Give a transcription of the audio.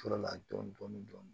Fɔlɔ la dɔɔnin dɔɔnin